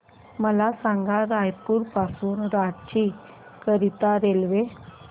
मला सांगा रायपुर पासून रांची करीता रेल्वे